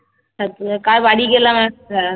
কার বাড়ি গেলাম একটা